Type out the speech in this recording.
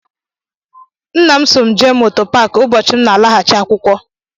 Nna m so m jee moto paaki ụbọchị m na-alaghachi akwụkwọ.